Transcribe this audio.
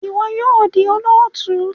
Iwọ yoo di olootu!